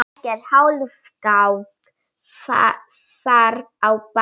Ekkert hálfkák þar á bæ.